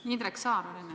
Indrek Saar on enne.